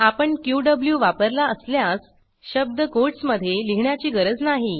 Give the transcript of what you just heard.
आपण क्यू वापरला असल्यास शब्द कोटस मधे लिहिण्याची गरज नाही